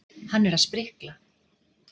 Hann er að sprikla.